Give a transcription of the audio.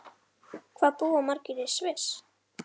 Hvað búa margir í Sviss?